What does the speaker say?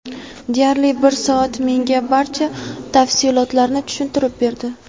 Deyarli bir soat menga barcha tafsilotlarni tushuntirib berdi.